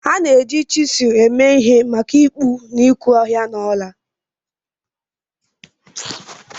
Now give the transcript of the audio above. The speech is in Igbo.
A na-eji chizul eme ihe maka ịkpụ na ịkpụ ọhịa na ọla